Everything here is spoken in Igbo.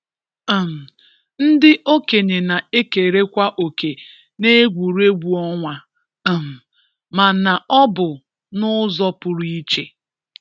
um ndị okenye na-ekerekwa òkè n’egwuregwu ọnwa um ma na ọ bụ n’ụzọ pụrụ iche.